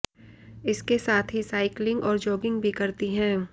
इसके साथ ही साइकलिंग और जॉगिंग भी करती है